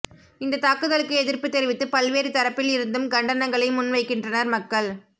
இந்த தாக்குதலுக்கு எதிர்ப்பு தெரிவித்து பல்வேறு தரப்பில் இருந்தும் கண்டனங்களை முன் வைக்கின்றனர் மக்கள்